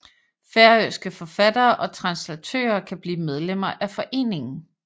Færøske forfattere og translatører kan blive medlemmer af foreningen